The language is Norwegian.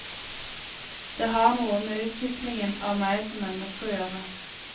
Det har noe med utviklingen av meg som menneske å gjøre.